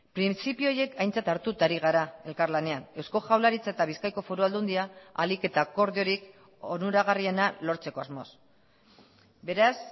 printzipio horiek aintzat hartuta ari gara elkarlanean eusko jaurlaritza eta bizkaiko foru aldundia ahalik eta akordiorik onuragarriena lortzeko asmoz beraz